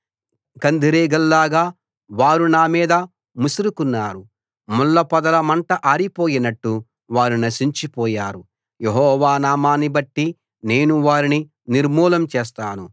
కందిరీగల్లాగా వారు నా మీద ముసురుకున్నారు ముళ్ళ పొదల మంట ఆరిపోయినట్టు వారు నశించిపోయారు యెహోవా నామాన్ని బట్టి నేను వారిని నిర్మూలం చేస్తాను